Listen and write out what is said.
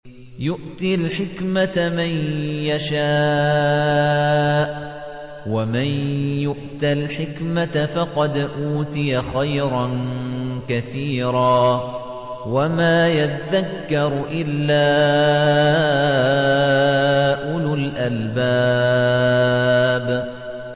يُؤْتِي الْحِكْمَةَ مَن يَشَاءُ ۚ وَمَن يُؤْتَ الْحِكْمَةَ فَقَدْ أُوتِيَ خَيْرًا كَثِيرًا ۗ وَمَا يَذَّكَّرُ إِلَّا أُولُو الْأَلْبَابِ